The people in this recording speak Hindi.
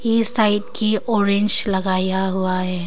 इस साइड की ऑरेंज लगाया हुआ है।